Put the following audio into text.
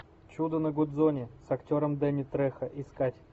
чудо на гудзоне с актером дэнни трехо искать